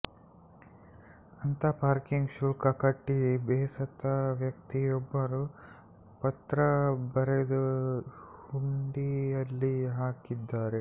ಅಂತ ಪಾರ್ಕಿಂಗ್ ಶುಲ್ಕ ಕಟ್ಟಿ ಬೇಸತ್ತ ವ್ಯಕ್ತಿಯೊಬ್ಬರು ಪತ್ರ ಬರೆದು ಹುಂಡಿಯಲ್ಲಿ ಹಾಕಿದ್ದಾರೆ